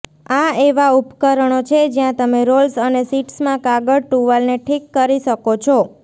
આ એવા ઉપકરણો છે જ્યાં તમે રોલ્સ અને શીટ્સમાં કાગળ ટુવાલને ઠીક કરી શકો છો